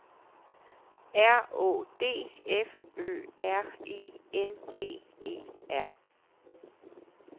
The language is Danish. R Å D F Ø R I N G E R